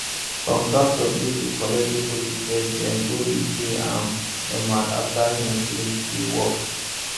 contractor gree to collect deposit first den dey go dey pay am normal after him finish de work